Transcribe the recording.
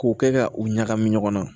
K'o kɛ ka u ɲagami ɲɔgɔn na